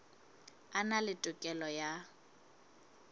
a na le tokelo ya